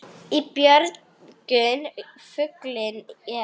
Í björgum fuglinn er.